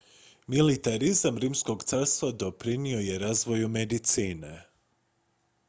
militarizam rimskog carstva doprinio je razvoju medicine